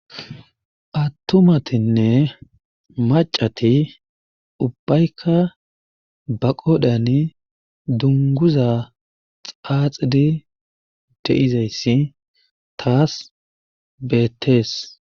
Atumatinne macati ubaykka ba qodhiyani dungguza xaaxidi de'izayssi taas beetees.